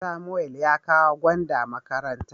Samuel ya kawo gwanda makaranta.